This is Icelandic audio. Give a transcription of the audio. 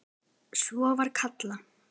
Svona var Kalla.